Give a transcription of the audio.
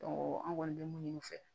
an kɔni bɛ mun ɲini u fɛ